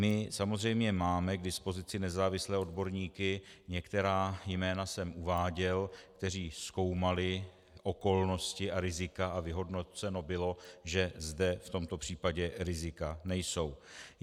My samozřejmě máme k dispozici nezávislé odborníky, některá jména jsem uváděl, kteří zkoumali okolnosti a rizika, a vyhodnoceno bylo, že zde v tomto případě rizika nejsou.